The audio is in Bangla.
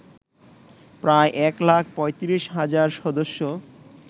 প্রায় এক লাখ ৩৫ হাজার সদস্য